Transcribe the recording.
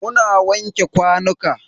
Muna wanke kwanuka.